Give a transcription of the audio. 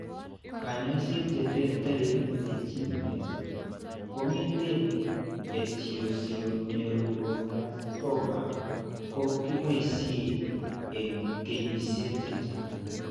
Kaany'ayseet che terteren regimens kong'eten esthesioneuroblastoma ko kiboisie eng' kenyisiek chechang'.